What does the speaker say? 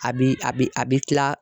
A bi a bi a bi kila